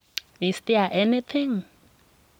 Is there anything?